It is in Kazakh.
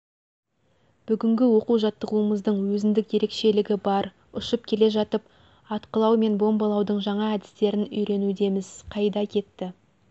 бүгінгі оқу-жаттығуымыздың өзіндік ерекшелігі бар ұшып келе жатып атқылау мен бомбалаудың жаңа әдістерін үйренудеміз қайда кетті